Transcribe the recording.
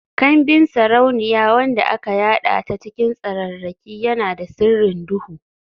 Kambin sarauniya wanda aka yada ta cikin tsararraki, yana da sirrin duhu.